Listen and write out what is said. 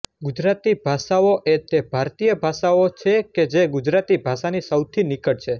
ગુજરાતી ભાષાઓ એ તે ભારતીય ભાષાઓ છે કે જે ગુજરાતી ભાષાની સૌથી નિકટ છે